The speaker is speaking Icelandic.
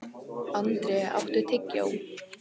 André, áttu tyggjó?